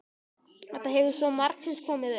Þetta hefur svo margsinnis komið upp.